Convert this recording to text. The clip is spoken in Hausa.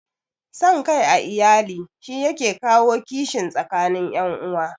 San kai a iyali shi yake kawo kishin tsakanin ƴan uwa